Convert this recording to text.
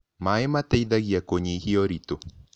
Maĩ mateĩthagĩa kũyĩhĩa ũrĩtũ